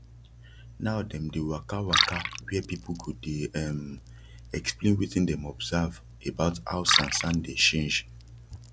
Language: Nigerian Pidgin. now dem dey waka waka wia people go dey um explain wetin dem observe about how sansan dey change